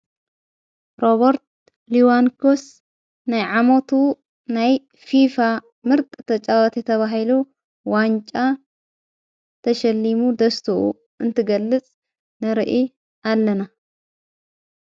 "ሮበርት ሊዋንፖስ"ናይ ዓሞቱ ናይ (ፊፋ)ምርጢ ተጫዋቲ ተባሂሉ ዋንጫ ተሸሊሙ ደስትኡ እንትገልጽ ንርኢ ኣለና።